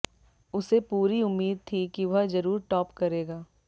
उसे पूरी उम्मीद थी कि वह जरूर टॉप करेगा